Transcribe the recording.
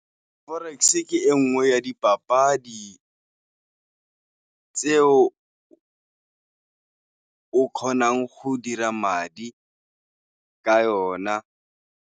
Forex ke e nngwe ya dipapadi tse o ka kgonang go dira madi ka yona.